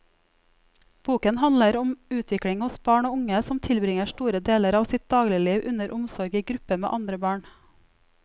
Boken handler om utvikling hos barn og unge som tilbringer store deler av sitt dagligliv under omsorg i gruppe med andre barn.